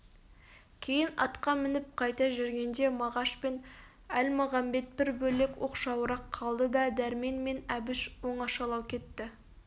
кейін атқа мініп қайта жүргенде мағаш пен әлмағамбет бір бөлек оқшауырақ қалды да дәрмен мен әбіш оңашалау кетті